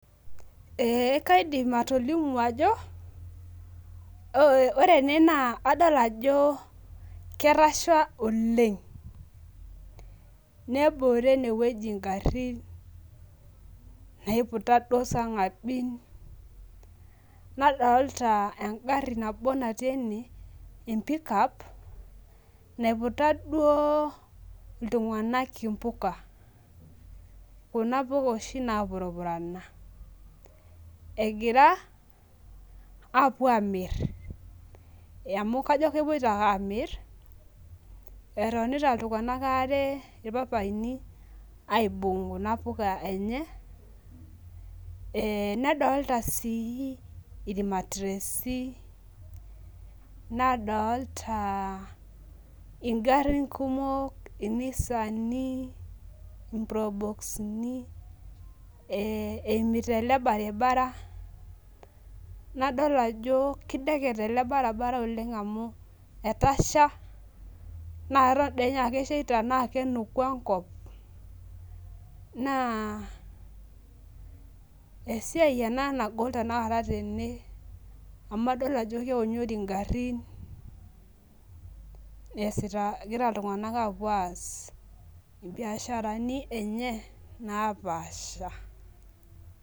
Ee kaidim atolimu ajo ore na ena adol ajo ketasha oleng nebore enewueji ngarin naiputa sarngabin nadolta engari nabo natii ene empikap naiputa duo ltunganak impuk kuna puka napurupurana ajo kepoito ake amir etonita ltunganak aare irpapaini aarebaibung kuna puka enye nadolta irmatiresi nadolta mpuka kumok inisani imropoxi ,eimita ele baribara nadol ajo kidekeny ele baribara amu etasha neton aa keshaitana kenuku enkop na esiai ena nagol tene amu adol ajo keonyori ngarin egira ltunganak apuo aas mbiasharani enye napaasha.